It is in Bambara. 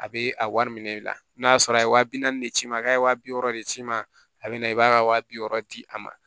A bɛ a wari minɛ i la n'a sɔrɔ a ye waa bi naani de ci i ma k'a ye waa bi wɔɔrɔ de s'i ma a bɛ na i b'a ka wa bi wɔɔrɔ di a ma